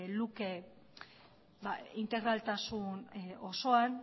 luke integraltasun osoan